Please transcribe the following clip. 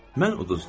Mən uduzdum.